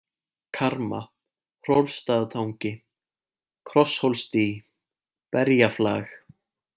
Karma, Hrólfsstaðatangi, Krosshólsdý, Berjaflag